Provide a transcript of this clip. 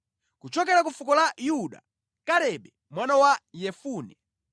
kuchokera ku fuko la Yuda, Kalebe mwana wa Yefune;